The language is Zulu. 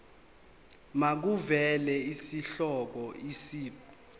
makuvele isihloko isib